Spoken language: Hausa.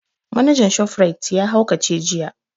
Manajan shof rite ya haukace jiya